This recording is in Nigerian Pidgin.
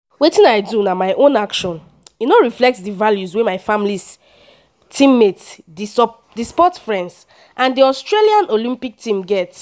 “wetin i do na my own action e no reflect di values wey my family teammates di sport friends and di australia olympic team get.